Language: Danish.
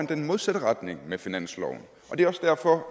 den modsatte retning med finansloven det er også derfor